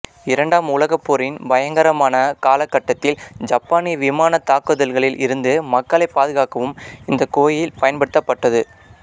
இரண்டாம் உலகப் போரின் பயங்கரமான காலகட்டத்தில் ஜப்பானிய விமானத் தாக்குதல்களில் இருந்து மக்களைப் பாதுகாக்கவும் இந்தக் கோயில் பயன்படுத்தப்பட்டது